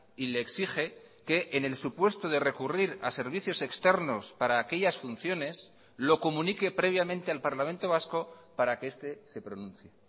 y le exige que en el supuesto de recurrir a servicios externos para aquellas funciones lo comunique previamente al parlamento vasco para que este se pronuncie